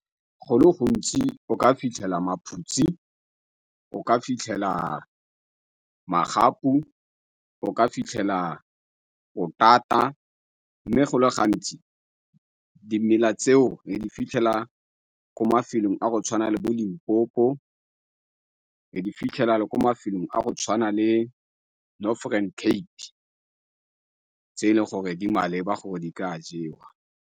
Go le gontsi o ka fitlhela maphutsi, o ka fitlhela magapu, o ka fitlhela potata mme go le gantsi dimela tseo re di fitlhela ko mafelong a go tshwana le bo Limpopo, re di fitlhela le ko mafelong a go tshwana le Northen Cape tse e leng gore di maleba gore di ka a jewa.